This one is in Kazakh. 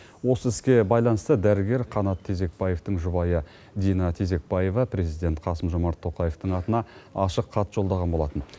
осы іске байланысты дәрігер қанат тезекбаевтың жұбайы дина тезекбаева президент қасым жомарт тоқаевтың атына ашық хат жолдаған болатын